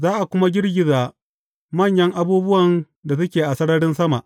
Za a kuma girgiza manyan abubuwan da suke a sararin sama.’